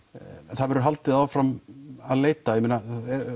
það verður haldið áfram að leita ég meina